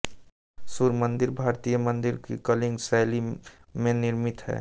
सूर्य मंदिर भारतीय मंदिरों की कलिंग शैली में निर्मित है